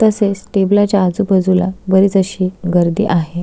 तसेच टेबला च्या आजु बाजुला बरीच अशी गर्दी आहे.